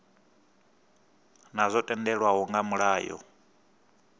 naa zwo tendelwa nga mulayo